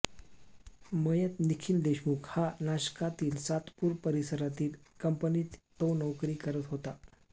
मयत निखिल देशमुख हा नाशकातील सातपूर परिसरातील कंपनीत तो नोकरी करत होता